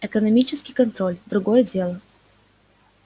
экономический контроль другое дело